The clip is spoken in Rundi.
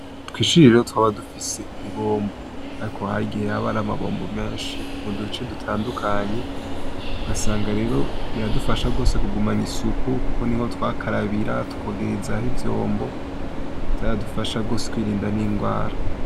Kw'ishuri rero twaba dufise ibombo. Ariko hagiye habara amabombo menshi mu duce dutandukanye, ugasanga rero biradufasha gose kugumana isuku, kuko niho twakarabira, tukogerezaho ivyombo, vyaradufasha gose kwirinda n'indwara.